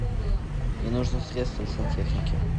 мне нужно средство для сантехники